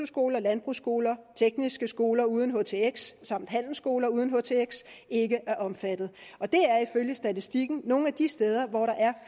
skoler landbrugsskoler tekniske skoler uden htx samt handelsskoler uden htx ikke er omfattet og det er ifølge statistikken nogle af de steder hvor der er